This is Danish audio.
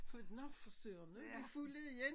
For nå for søren nu de fulde igen